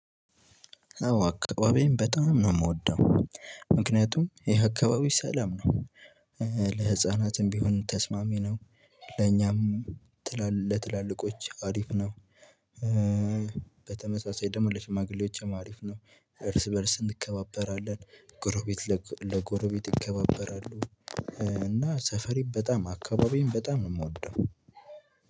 አዎ አካባቢዬን በጣም ነው የምወደው ምክንያቱም ይሄ አካባቢው ሰላም ነው እ ለህፃናትም ቢሆን ተስማሚ ነው ለኛም ትላል ለትላልቆች አሪፍ ነው እ በተመሳሳይ ደግሞ ለሽማግሌዎችም አሪፍ ነው እርስ በእርስ እንከባበራለን ጎረቤት ለጎረቤት ይከባበራሉ እ እና ሰፈሬን በጣም አካባቢዬን በጣም ነው የምወደው።